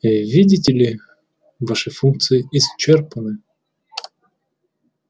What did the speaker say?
э видите ли ваши функции исчерпаны